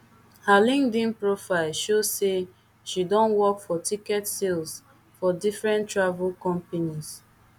her linkedin profile show say she don work for ticket sales for different travel companies